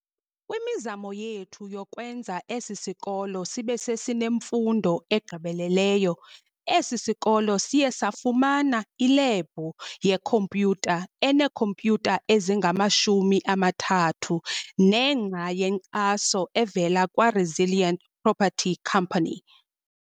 Kwimizamo yethu yokwenza esi sikolo sibesesinemfundo egqibeleleyo, esi sikolo siye safumana ilebhu yeKhompyutha eneekhompyutha ezingama-30, nengxa yenkxaso evela kwa-Resilient Property company.